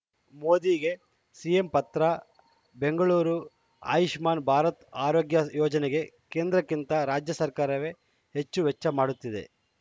ಮೋದಿಗೆ ಸಿಎಂ ಪತ್ರ ಬೆಂಗಳೂರು ಆಯುಷ್ಮಾನ್‌ ಭಾರತ್‌ ಆರೋಗ್ಯ ಯೋಜನೆಗೆ ಕೇಂದ್ರಕ್ಕಿಂತ ರಾಜ್ಯ ಸರ್ಕಾರವೇ ಹೆಚ್ಚು ವೆಚ್ಚ ಮಾಡುತ್ತಿದೆ